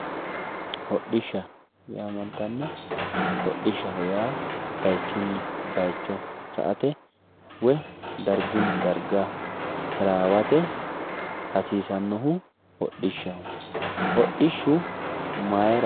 Hodhishsha yamantano, hodhishsha yaa bayichunni bayicho sa"ate woyi dargunni darga tarawate hasiisanohu hodhishshaho, hodhishshu mayra .